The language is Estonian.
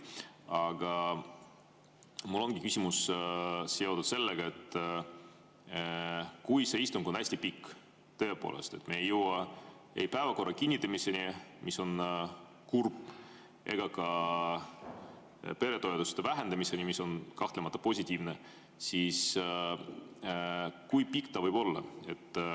Aga minu küsimus on seotud sellega, et kui see istung on hästi pikk ja tõepoolest me ei jõua päevakorra kinnitamiseni, mis on kurb, ega ka peretoetuste vähendamiseni, mis on kahtlemata positiivne, siis kui pikk see kõik võib olla.